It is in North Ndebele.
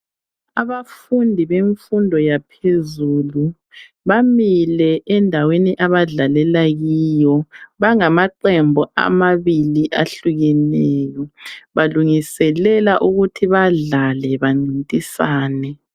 Abafundi bemfundo yaphezulu bamile endaweni abadlalela kiyo bangamaqembu amabili ahlukeneyo balungiselela ukuthi badlale bancintisane